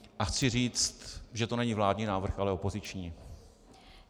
A chci říct, že to není vládní návrh, ale opoziční.